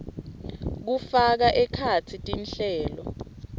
kufaka ekhatsi tinhlelo